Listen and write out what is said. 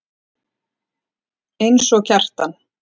Eins og Kjartan.